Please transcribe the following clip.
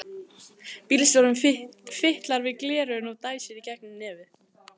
Bílstjórinn fitlar við gleraugun og dæsir í gegnum nefið.